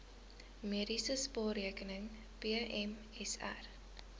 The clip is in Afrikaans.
mediese spaarrekening pmsr